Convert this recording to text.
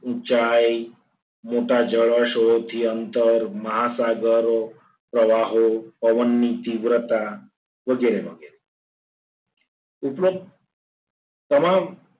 ઊંચાઈ, મોટા જોળાશયો થી અંતર મહાસાગરો પ્રવાહો પવનની તીવ્રતા વગેરે વગેરે ઉપરાંત તમામ